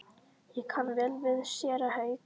Ég kann vel við séra Hauk.